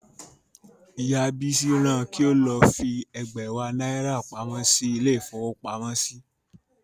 Ìyá Bísí ran an kí ó lọ fi ẹ̀gbẹ̀wá náírà pamọ́ sí ilé-ìfowópamọ́sí.